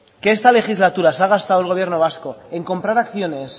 que esta legislatura se ha gastado el gobierno vasco en comprar acciones